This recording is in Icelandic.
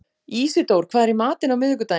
Ísidór, hvað er í matinn á miðvikudaginn?